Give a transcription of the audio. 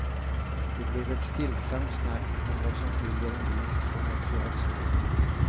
Det blev ett stillsamt snack om vad som skiljer en vinst från ett fiasko.